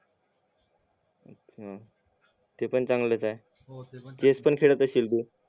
हं ते पण चांगलाच आहे चेस पण खेळात अशील तू